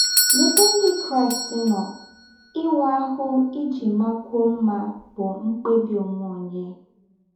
N’êbè Ndí́ Kráịst nọ̀, íwạ́ áhụ́ íjì màkwụ́ọ̀ mmá bụ́ mkpèbị̀ ónwẹ̀ ǒnyẹ́.